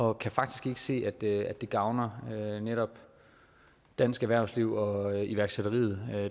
og kan faktisk ikke se at det gavner netop dansk erhvervsliv og iværksætteriet